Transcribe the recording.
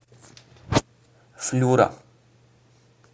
флюра